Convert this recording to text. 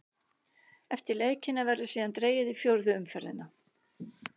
Eftir leikina verður síðan dregið í fjórðu umferðina.